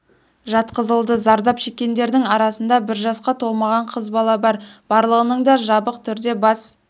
жатқызылды зардап шеккендердің арасында бір жасқа толмаған қыз бала бар барлығының да жабық түрде бас